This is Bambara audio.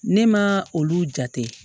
Ne ma olu jate